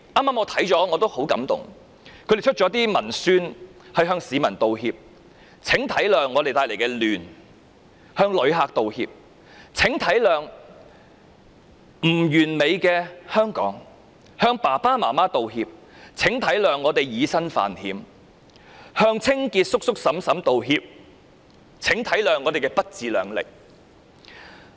他們製作了一些文宣向市民道歉："請體諒我們帶來的亂"，向旅客道歉："請體諒不完美的香港"，向爸爸媽媽道歉："請體諒我們以身犯險"，向清潔叔叔嬸嬸道歉："請體諒我們不自量力"。